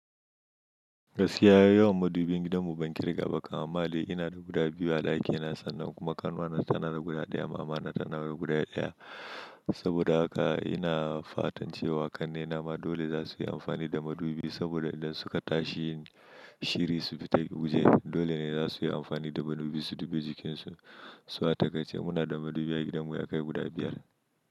Gaskiya yawan madubin gidanmu ban kirga ba kaman mali. Ina da guda biyu a ɗakina sannan kuma ƙanwana tana da guda ɗaya, mama na tana da guda ɗaya. Saboda haka ina fatan cewa ƙannena ma dole za su yi amfani da madubi saboda idan suka tashi shiri su fita waje dole ne za su yi amfani da madubi su dubi jikinsu. Su a takaice ce muna da madubi a gidanmu ya kai guda biyar.